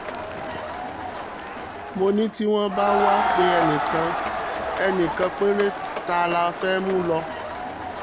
mo ní tí wọ́n bá wàá pe ẹnì kan ẹnì kan péré ta ló fẹ́ẹ́ mú lò